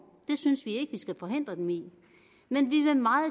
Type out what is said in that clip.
det synes vi skal forhindre dem i men vi vil meget